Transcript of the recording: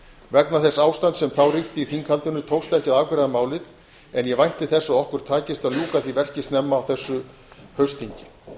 vegna þess ástands sem þá ríkti í þinghaldinu tókst ekki að afgreiða málið en ég vænti þess að okkur takist að ljúka því verki snemma á þessu haustþingi